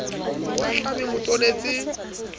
o ahlame o mo tonetse